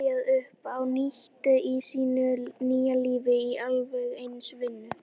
Hún getur ekki byrjað upp á nýtt í sínu nýja lífi í alveg eins vinnu.